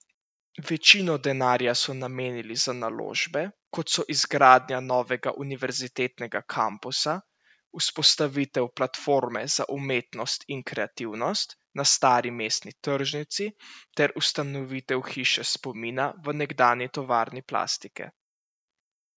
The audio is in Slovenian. Večino denarja so namenili za naložbe, kot so izgradnja novega univerzitetnega kampusa, vzpostavitev Platforme za umetnost in kreativnost na stari mestni tržnici ter ustanovitev Hiše spomina v nekdanji tovarni plastike.